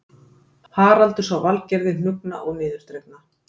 Haraldur sá Valgerði hnuggna og niðurdregna